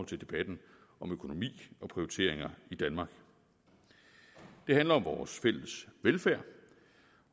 til debatten om økonomi og prioriteringer i danmark det handler om vores fælles velfærd